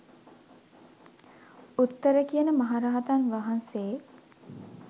උත්තර කියන මහරහතන් වහන්සේ